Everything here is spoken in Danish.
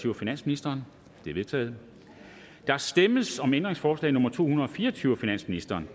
af finansministeren de er vedtaget der stemmes om ændringsforslag nummer to hundrede og fire og tyve af finansministeren